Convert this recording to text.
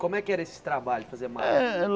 Como é que era esse trabalho, fazer mala? Eh